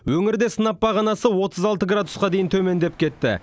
өңірде сынап бағанасы отыз алты градусқа дейін төмендеп кетті